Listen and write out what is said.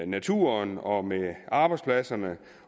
naturen og med arbejdspladserne